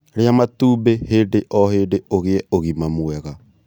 Rĩa matumbĩ hĩndĩ o hĩndĩ ũgie ũgima mwega